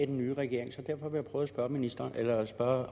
den nye regering så derfor vil jeg prøve at spørge ministeren eller spørge